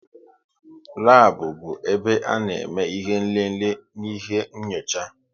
Labu bụ ebe ana eme ihe nlele n'ihe nyocha